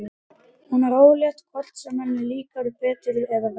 Hún er ólétt hvort sem henni líkar betur eða verr.